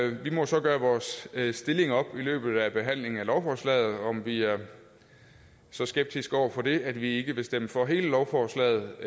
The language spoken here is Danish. vi må så gøre vores stilling op i løbet af behandlingen af lovforslaget altså om vi er så skeptiske over for det at vi ikke vil stemme for hele lovforslaget